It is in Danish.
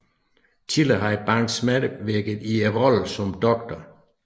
Tidligere havde Banks medvirket i rollen som Dr